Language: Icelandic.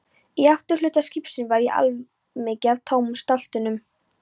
Í afturhluta skipsins var og allmikið af tómum stáltunnum.